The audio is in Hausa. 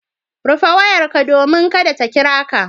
Rufe wayarka domin kada ta kira ka.